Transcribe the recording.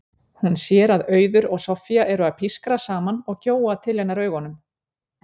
Hún sér að Auður og Soffía eru að pískra saman og gjóa til hennar augunum.